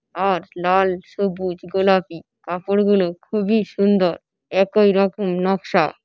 আর লাল সবু্‌জ গোলাপি কাপড় গুলো খুবই সুন্দর। একই রকম নকশা।